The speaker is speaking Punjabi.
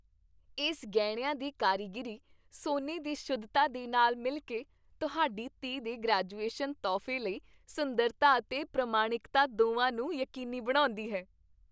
ਇਸ ਗਹਿਣਿਆਂ ਦੀ ਕਾਰੀਗਰੀ, ਸੋਨੇ ਦੀ ਸ਼ੁੱਧਤਾ ਦੇ ਨਾਲ ਮਿਲ ਕੇ, ਤੁਹਾਡੀ ਧੀ ਦੇ ਗ੍ਰੈਜੂਏਸ਼ਨ ਤੋਹਫ਼ੇ ਲਈ ਸੁੰਦਰਤਾ ਅਤੇ ਪ੍ਰਮਾਣਿਕਤਾ ਦੋਵਾਂ ਨੂੰ ਯਕੀਨੀ ਬਣਾਉਂਦੀ ਹੈ।